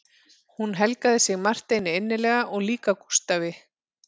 Hún helgaði sig Marteini innilega og líka Gústafi